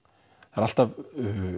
það er alltaf